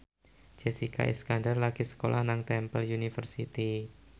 Jessica Iskandar lagi sekolah nang Temple University